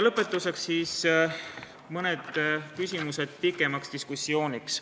Lõpetuseks mõned küsimused pikema diskussiooni jaoks.